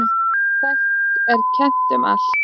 Þekkt er kennt um allt.